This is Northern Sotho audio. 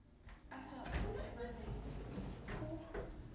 a sa o obamele o